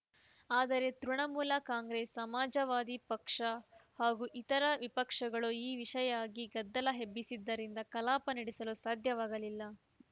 ಆದರೆ ತೃಣಮೂಲ ಕಾಂಗ್ರೆಸ್‌ ಸಮಾಜವಾದಿ ಪಕ್ಷ ಹಾಗೂ ಇತರ ವಿಪಕ್ಷಗಳು ಈ ವಿಷಯಾಗಿ ಗದ್ದಲ ಎಬ್ಬಿಸಿದ್ದರಿಂದ ಕಲಾಪ ನಡೆಸಲು ಸಾಧ್ಯವಾಗಲಿಲ್ಲ